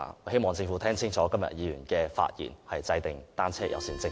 希望政府清楚聽到今天議員的發言，制訂單車友善政策。